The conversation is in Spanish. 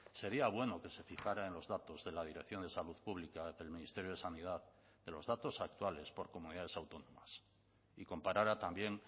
sería bueno que se fijara en los datos de la dirección de salud pública del ministerio de sanidad de los datos actuales por comunidades autónomas y comparara también